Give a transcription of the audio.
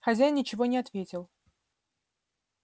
хозяин ничего не ответил